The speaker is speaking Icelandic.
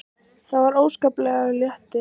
Það var óskaplegur léttir.